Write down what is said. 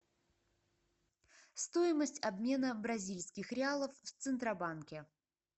стоимость обмена бразильских реалов в центробанке